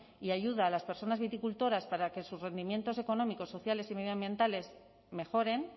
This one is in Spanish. y ayuda a las personas viticultores para que sus rendimientos económicos sociales y medioambientales mejoren